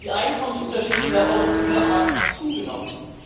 die Einkommensunterschiede in der Eurozone haben zugenommen.